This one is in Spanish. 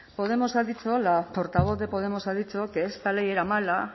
podemos ha dicho la portavoz de podemos ha dicho que esta ley era mala